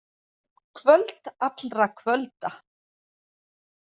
Kvöld allra kvölda.